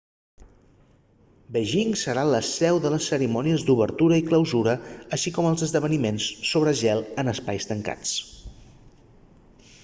beijing serà la seu de les cerimònies d'obertura i clausura així com els esdeveniments sobre gel en espais tancats